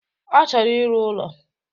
Ọ chọrọ ịrụ ụlọ